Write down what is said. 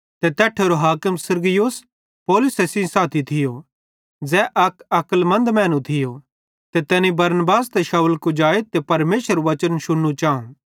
तै तैट्ठेरे हाकिम सिरगियुस पौलुस सेइं साथी थियो ज़ै अक अक्लमन्द मैनू थियो ते तैनी बरनबास ते शाऊल कुजाए ते परमेशरेरू वचन शुन्नू चाऊ